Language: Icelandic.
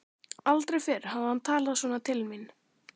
Aldrei fyrr hafði hann talað svona til mín.